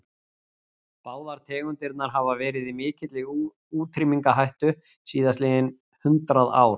Báðar tegundirnar hafa verið í mikilli útrýmingarhættu síðastliðin hundrað ár.